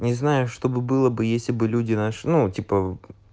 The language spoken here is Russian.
не знаю чтобы было бы если бы люди наши ну типа